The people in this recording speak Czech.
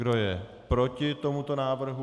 Kdo je proti tomuto návrhu?